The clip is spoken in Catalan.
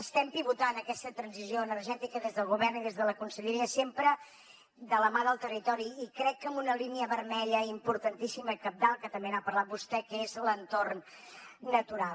estem pivotant aquesta transició energètica des del govern i des de la conselleria sempre de la mà del territori i crec que amb una línia vermella importantíssima cabdal que també n’ha parlat vostè que és l’entorn natural